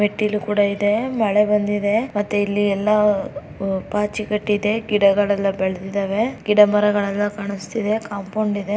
ಮೆಟ್ಟಿಲು ಕೂಡ ಇದೆ ಮಳೆ ಬಂದಿದೆ ಇಲ್ಲಿ ಎಲ್ಲಾ ಪಾಚಿ ಕಟ್ಟಿದೆ ಗಿಡಗಳೆಲ್ಲಾ ಬೆಳದ್ದಿದವೇ ಗಿಡಮರಗಳೆಲ್ಲಾ ಕಾಣಸ್ತಿದೆ ಕಾಂಪೌಂಡ್ ಇದೆ